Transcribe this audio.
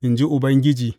in ji Ubangiji.